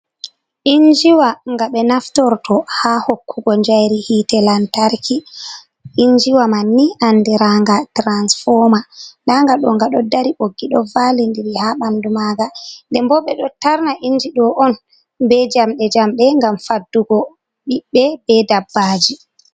Inji wa nga ɓe naftorto haa hokkugo njayri hite lantarki, injiwa man ni andiraaga tiransfoma ndanga ɗo ga ɗo dari, ɓoggi ji ɗo vali diri haa ɓandu maaga, nde bo ɓe ɗo tarna injido on be jamɗe-jamɗe, ngam faddugo ɓiɓɓe be dabbaaji.